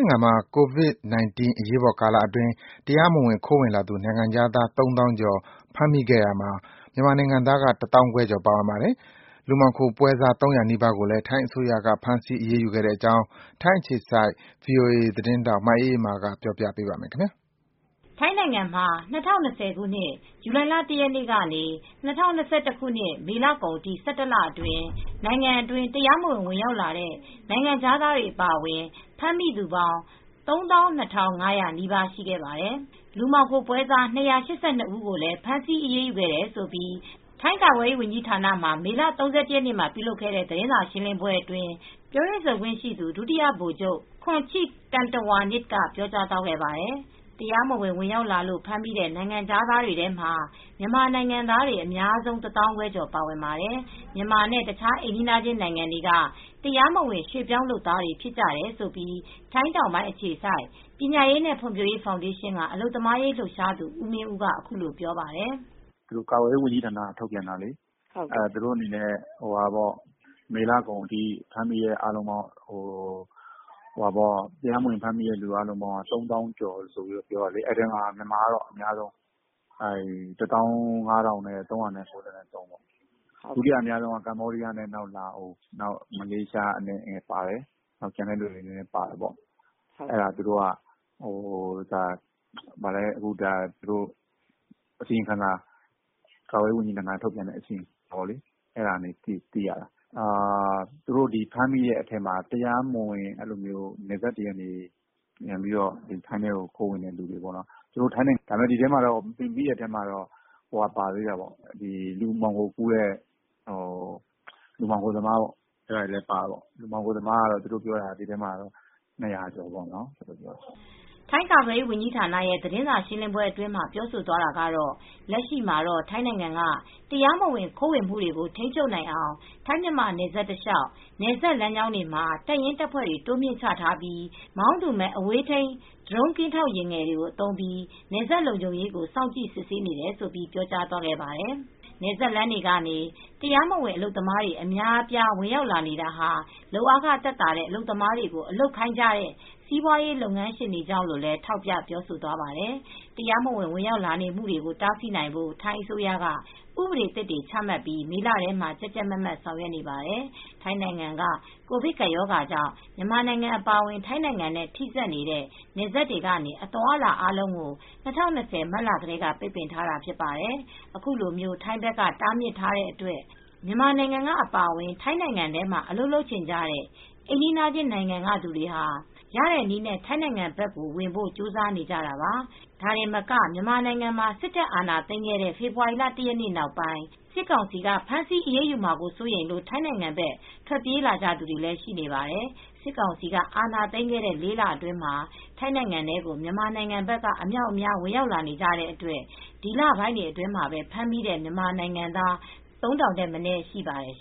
င်ငံမှာ ကိုဗစ်-၁၉ အရေးပေါ်ကာလအတွင်း တရားမဝင်ခိုးဝင်လာသူ နိုင်ငံခြားသား ၃၀,၀၀၀ ကျော် ဖမ်းမိခဲ့ရာမှာ မြန်မာနိုင်ငံသားက ၁၅,၀၀၀ ကျော်ပါဝင်ပါတယ်။ လူမှောင်ခိုပွဲစား ၃၀၀ နီးပါးကိုလည်း ထိုင်းအစိုးရက ဖမ်းဆီးအရေးယူခဲ့တဲ့အကြောင်း ထိုင်းအခြေစိုက် ဗွီအိုအေ သတင်းထောက် မအေးအေးမာက ပြောပြပေးမှာပါ။ ထိုင်းနိုင်ငံမှာ ၂၀၂၀ ဇူလိုင် ၁ ရက်နေ့ကနေ ၂၀၂၁ မေလ ကုန်အထိ ၁၁ လအတွင်း နိုင်ငံအတွင်း တရားမဝင် ဝင်ရောက်လာတဲ့ နိုင်ငံခြားသားအပါအဝင် ဖမ်းမိသူပေါင်း ၃၂,၅၀၀ နီးပါးရှိခဲ့ပါတယ်။ လူမှောင်ခိုပွဲစား ၂၈၂ ဦးကိုလည်း ဖမ်းဆီးအရေးယူခဲ့တယ်လို့ ထိုင်းကာကွယ်ရေးဝန်ကြီးဌာနမှာ မေလ ၃၁ ရက်နေ့က ပြုလုပ်ခဲ့တဲ့ သတင်းစာရှင်းလင်းပွဲအတွင်း ပြောရေးဆိုခွင့်ရှိသူ ဒုတိယ ဗိုလ်ချုပ် Khoncheep Tantrawanich က ပြောကြားသွားခဲ့ပါတယ်။ တရားမဝင် ဝင်ရောက်လာလို့ ဖမ်းမိတဲ့ နိုင်ငံခြားတွေထဲမှာ မြန်မာနိုင်ငံသားတွေ အများဆုံး ၁၅,၀၀၀ ကျော်ပါဝင်ပါတယ်။ မြန်မာနဲ့ တခြားအိမ်နီးချင်းနိုင်ငံတွေက တရားမဝင် ရွှေ့ပြောင်းလုပ်သားတွေ ဖြစ်ကြတယ်လို့ ထိုင်းတောင်ပိုင်း အခြေစိုက် ပညာရေးနဲ့ ဖွံ့ဖြိုးရေးဖောင်ဒေးရှင်းက အလုပ်သမားရေးလှုပ်ရှားသူ ဦးမင်းဦးက အခုလိုပြောပါတယ်။ "ကာကွယ်ရေးဝန်ကြီးဌာနက ထုတ်ပြန်ထားတဲ့ မေလကုန်ထိ တရားမဝင် ဖမ်းမိသူအားလုံးပေါင်းက ၃၀,၀၀၀ ကျော်တယ် ဒီထဲမှာမြန်မာကတော့အများဆုံးပါတယ် ၁၅,၃၉၃ ပေါ့ ဒုတိယအများဆုံးက ကမ္ဘောဒီးယားနဲ့ လာအိုဝ် မလေးရှားလည်း နည်းနည်းပါတယ်။ ကျန်တဲ့နိုင်ငံသားလည်း ပါတယ်။ ကာကွယ်ရေးဝန်ကြီးဌာနက ထုတ်ပြန်တဲ့ အစီရင်ခံစာအရသိရတာ သူတို့ ဖမ်းမိတဲ့အထဲမှာ နယ်စပ်တွေက တရားမဝင်ခိုးဝင်လို့ ဖမ်းမိတာ ဒီထဲမှာလူမှောင်ခိုသမားတွေလည်း ပါတယ်။ မှောင်ခိုသမားကတော့လူ ၂၀၀ ကျော်ပါတယ်။" ထိုင်းကာကွယ်ရေးဝန်ကြီးဌာနရဲ့သတင်းစာရှင်းလင်းပွဲအတွင်းမှာ ပြောဆိုသွားတာကတော့ လက်ရှိမှာတော့ ထိုင်းနိုင်ငံက တရားမဝင်ခိုးဝင်မှုတွေကို ထိန်းချုပ်နိုင်အောင် ထိုင်းမြန်မာနယ်စပ်တလျှောက် နယ်စပ်လမ်းကြောင်းတွေမှာ တပ်ရင်းတပ်ဖွဲ့တွေ တိုးမြှင့်ချထားပြီး မောင်းသူမဲ့ အဝေးထိန်း ဒရုန်းကင်းထောက်ယာဉ်ငယ်တွေ သုံးပြီး နယ်စပ်လုံခြုံရေးကို စောင်ကြည့် စစ်ဆေးနေတယ်လို့ ပြောကြားသွားပါတယ်။ နယ်စပ်လမ်းတွေကနေ တရားမဝင်အလုပ်သမားတွေ အများအပြား ဝင်ရောက်လာနေတာဟာ လုပ်အားခ သက်သာတဲ့ အလုပ်သမားတွေကို အလုပ်ခိုင်းနေကြတဲ့ စီးပွားရေးလုပ်ငန်းရှင်တွေကြောင့်လို့လည်း ထောက်ပြပြောသွားပါတယ်။ တရားမဝင် ဝင်ရောက်လာနေမှုကို တားဆီးနိုင်ဖို့ ထိုင်းအစိုးရက ဥပဒေသစ်တွေ ချမှတ်ပြီး မေလထဲက ကြပ်ကြပ်မတ်မတ် ဆောင်ရွက်နေပါတယ်။ ထိုင်းနိုင်ငံက ကိုဗစ်ကပ်ရောဂါကြောင့် မြန်မာနိုင်ငံအပါအဝင် ထိုင်းနိုင်ငံနဲ့ ထိဆက်နေတဲ့ နယ်စပ်တွေကနေ အသွားအလာအားလုံးကို ၂၀၂၀ မတ်လထဲက ပိတ်ပင်ထားတာဖြစ်ပါတယ်။ ခုလို ထိုင်းဘက်က တားမြစ်ထားတဲ့အတွက် မြန်မာနိုင်ငံက အပါအဝင် ထိုင်းနိုင်ငံထဲမှာ အလုပ်လုပ်ချင်ကြတဲ့ အိမ်နီးချင်းနိုင်ငံကသူတွေဟာ ရတဲ့နည်းနဲ့ ထိုင်းနိုင်ငံဘက် ဝင်ဖို့ ကြိုးစားနေကြတာပါ၊ ဒါတင်မက မြန်မာနိုင်ငံမှာ စစ်တပ်အာဏာသိမ်းခဲ့တဲ့ ဖေဖော်ဝါရီလ ၁ ရက်နေ့ နောက်ပိုင်း စစ်ကောင်စီက ဖမ်းဆီးအရေးယူမှာ စိုးရိမ်လို့ ထိုင်းနိုင်ငံဘက် ထွက်ပြေးလာကြသူတွေလည်း ရှိနေပါတယ်။ စစ်ကောင်စီက အာဏာသိမ်းခဲ့တဲ့ ၄ လအတွင်းမှာ ထိုင်းနိုင်ငံထဲကို မြန်မာနိုင်ငံဘက်က အမြောက်အများ ဝင်ရောက်နေကြတဲ့အတွက် ဒီလပိုင်းတွေအတွင်းမှာပဲ ဖမ်းမိတဲ့ မြန်မာနိုင်ငံသား ၃,၀၀၀ ထက်မနည်း ရှိပါတယ်